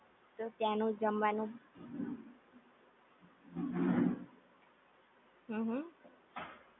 ત્યાં નું જમવાનું હમ્મ હમ્મ